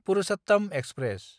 Purushottam express